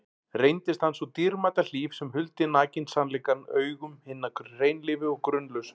Reyndist hann sú dýrmæta hlíf sem huldi nakinn sannleikann augum hinna hreinlífu og grunlausu.